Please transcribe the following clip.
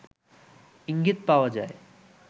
ইঙ্গিত পাওয়া যায়